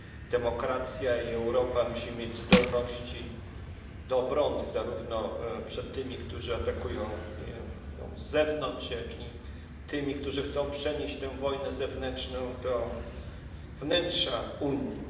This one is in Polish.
Demokracja i Europa muszą mieć zdolność do obrony, zarówno przed tymi, którzy atakują ją z zewnątrz, jak i tymi, którzy chcą przenieść tę wojnę zewnętrzną do wnętrza Unii.